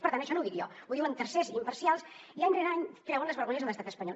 per tant això no ho dic jo ho diuen tercers imparcials i any rere any treuen les vergonyes a l’estat espanyol